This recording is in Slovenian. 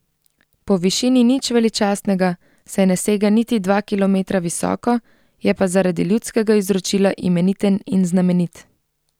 Po višini nič veličastnega, saj ne sega niti dva kilometra visoko, je pa zaradi ljudskega izročila imeniten in znamenit.